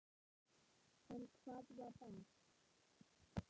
En hvað var best?